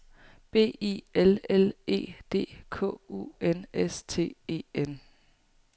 B I L L E D K U N S T E N